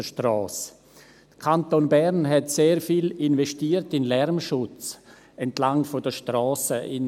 Der Kanton Bern hat sehr viel in den Lärmschutz entlang der Strassen investiert.